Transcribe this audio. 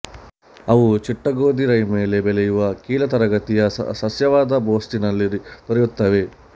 ಅವು ಚಿಟ್ಟಗೋದಿ ರೈ ಮೇಲೆ ಬೆಳೆಯುವ ಕೀಳ್ತರಗತಿಯ ಸಸ್ಯವಾದ ಬೊಸ್ಟಿನಲ್ಲಿ ದೊರೆಯುತ್ತವೆ